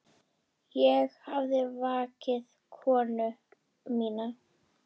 Ég hafði vakið konu mína.